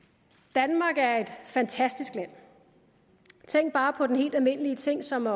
danmark er et fantastisk land tænk bare på en helt almindelig ting som at